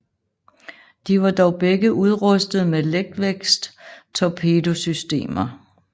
De var dog begge udrustet med letvægtstorpedosystemer